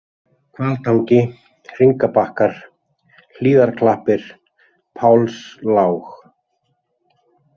Hvaltangi, Hringabakkar, Hlíðarklappir, Pálslág